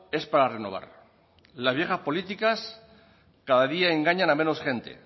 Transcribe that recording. es para renovar las viejas políticas cada día engañan a menos gente